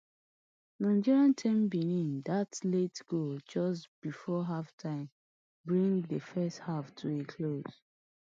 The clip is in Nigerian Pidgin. nigeria ten benin dat late goal just before halftime bring di first half to a close